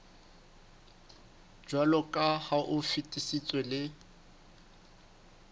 jwaloka ha o fetisitswe le